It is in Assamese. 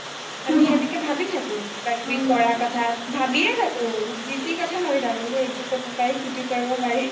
আমি সেনেকে ভাবি থাকো কিবা কিবি কৰা কথা ভাবিয়ে থাকো যি টি কথা ভাবি থাকো যে এইটো কৰিব পাৰি সেইটো কৰিব পাৰি